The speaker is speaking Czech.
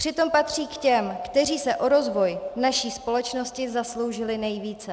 Přitom patří k těm, kteří se o rozvoj naší společnosti zasloužily nejvíce.